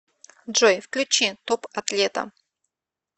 джой включи топ атлета